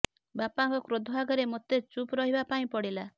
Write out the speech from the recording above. ବାପାଙ୍କ କ୍ରୋଧ ଆଗରେ ମୋତେ ଚୁପ୍ ରହିବା ପାଇଁ ପଡିଲା